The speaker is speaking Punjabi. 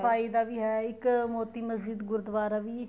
ਸਫਾਈ ਦਾ ਵੀ ਹੈ ਇੱਕ ਮੋਤੀ ਮਸ਼ਿਦ ਗੁਰੂਦਵਾਰਾ ਵੀ